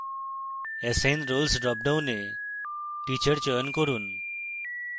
assign roles dropdown teacher চয়ন করুন